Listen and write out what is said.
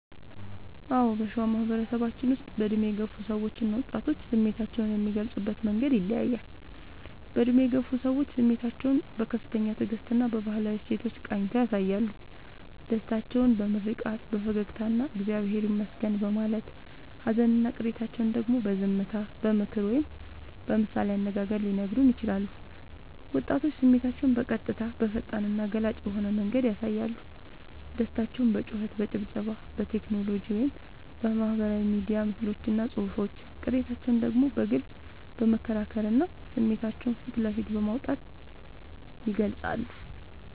አዎ: በሸዋ ማህበረሰባችን ውስጥ በዕድሜ የገፉ ሰዎችና ወጣቶች ስሜታቸውን የሚገልጹበት መንገድ ይለያያል፦ በዕድሜ የገፉ ሰዎች፦ ስሜታቸውን በከፍተኛ ትዕግስትና በባህላዊ እሴቶች ቃኝተው ያሳያሉ። ደስታቸውን በምርቃት፣ በፈገግታና «እግዚአብሔር ይመስገን» በማለት: ሃዘንና ቅሬታቸውን ደግሞ በዝምታ: በምክር ወይም በምሳሌ አነጋገር ሊነግሩን ይችላሉ። ወጣቶች፦ ስሜታቸውን በቀጥታ: በፈጣንና ገላጭ በሆነ መንገድ ያሳያሉ። ደስታቸውን በጩኸት: በጭብጨባ: በቴክኖሎጂ (በማህበራዊ ሚዲያ ምስሎችና ጽሑፎች): ቅሬታቸውን ደግሞ በግልጽ በመከራከርና ስሜታቸውን ፊት ለፊት በማውጣት ይገልጻሉ።